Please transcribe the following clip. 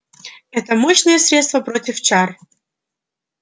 это мощное средство против чар